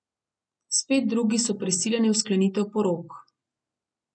Spet drugi so prisiljeni v sklenitev porok.